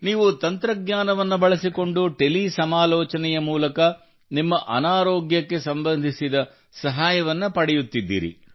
ನೀವು ತಂತ್ರಜ್ಞಾನವನ್ನು ಬಳಸಿಕೊಂಡು ಟೆಲಿ ಸಮಾಲೋಚನೆಯ ಮೂಲಕ ನಿಮ್ಮ ಅನಾರೋಗ್ಯಕ್ಕೆ ಸಂಬಂಧಿಸಿದ ಸಹಾಯವನ್ನು ಪಡೆಯುತ್ತಿದ್ದೀರಿ